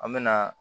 An mɛna